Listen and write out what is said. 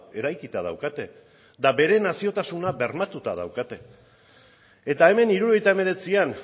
eraikita daukate eta bere naziotasuna bermatuta daukate eta hemen hirurogeita hemeretzian